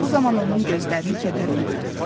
Bu zaman onun gözlərini kədər bürüdü.